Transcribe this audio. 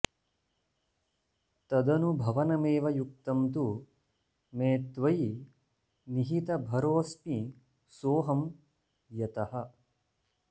तदनुभवनमेव युक्तं तु मे त्वयि निहितभरोऽस्मि सोऽहं यतः